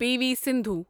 P V Sindhu